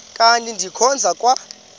kanti ndikhonza kwa